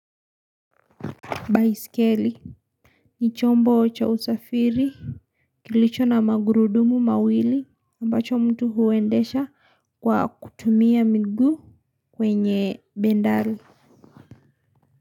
Baiskeli ni chombo cha usafiri kilicho na magurudumu mawili ambacho mtu huendesha kwa kutumia miguu kwenye bendaru.